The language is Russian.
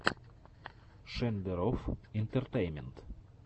шендерофф интэртэйнмэнт